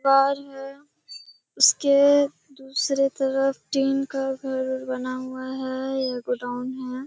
दीवार है। उसके दूसरे तरफ टीन का घर बना हुआ है। यह गोडाउन है।